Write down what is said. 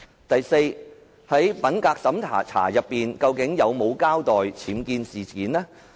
第四，在品格審查時，司長有否交代僭建事件？